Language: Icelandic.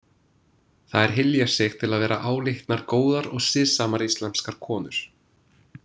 Þær hylja sig til að vera álitnar góðar og siðsamar íslamskar konur.